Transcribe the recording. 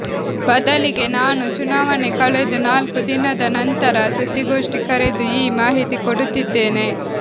ಬದಲಿಗೆ ನಾನು ಚುನಾವಣೆ ಕಳೆದು ನಾಲ್ಕು ದಿನದ ನಂತರ ಸುದ್ದಿಗೋಷ್ಠಿ ಕರೆದು ಈ ಮಾಹಿತಿ ಕೊಡುತ್ತಿದ್ದೇನೆ